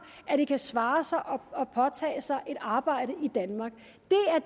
at det kan svare sig at påtage sig et arbejde i danmark